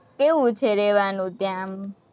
કેવું છે રહેવાનું ત્યાં, આમ?